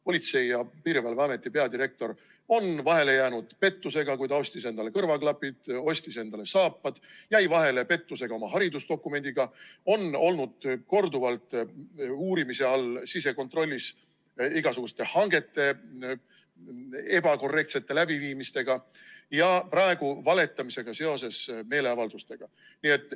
Politsei‑ ja Piirivalveameti peadirektor on vahele jäänud pettusega, kui ta ostis endale kõrvaklapid, ostis endale saapad, jäi vahele pettusega oma haridusdokumendiga, on olnud korduvalt uurimise all sisekontrollis igasuguste hangete ebakorrektse läbiviimisega ja praegu valetamisega meeleavalduste kohta.